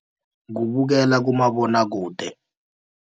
Kubukela kumabonwakude.